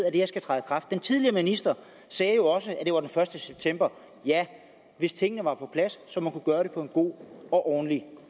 at det her skal træde i kraft den tidligere minister sagde jo også at det var den første september ja hvis tingene var på plads så man kunne gøre det på en god og ordentlig